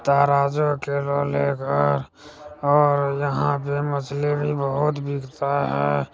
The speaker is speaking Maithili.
तराजू के और यहां पे मछली भी बहुत बिकता है।